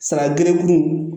Saga geregun